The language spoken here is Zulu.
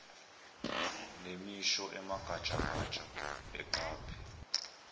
nemisho emagatshagatsha eqaphe